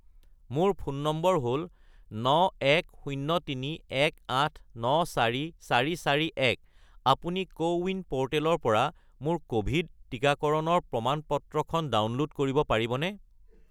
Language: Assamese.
মোৰ ফোন নম্বৰ হ'ল 91031894441 , আপুনি কোৱিন প'ৰ্টেলৰ পৰা মোৰ ক'ভিড টিকাকৰণৰ প্ৰমাণ-পত্ৰখন ডাউনল'ড কৰিব পাৰিবনে?